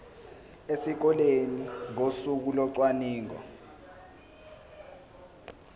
esikoleni ngosuku locwaningo